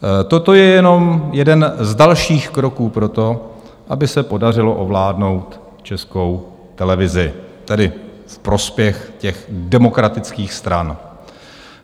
Toto je jenom jeden z dalších kroků pro to, aby se podařilo ovládnout Českou televizi, tedy v prospěch těch "demokratických" stran.